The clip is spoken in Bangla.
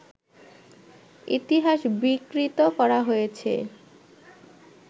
ইতিহাস বিকৃত করা হয়েছে